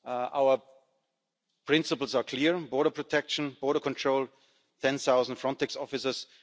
Our principles are clear border protection, border control, ten thousand Frontex officers.